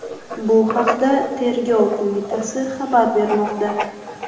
Bu haqda Tergov qo‘mitasi xabar bermoqda .